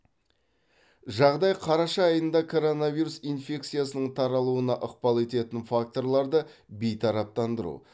жағдай қараша айында коронавирус инфекциясының таралуына ықпал ететін факторларды бейтараптандыру